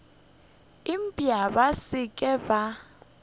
eupša ba se ke ba